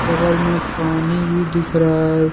बगल में पानी भी दिख रहा है।